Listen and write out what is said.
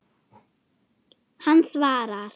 Hann svarar.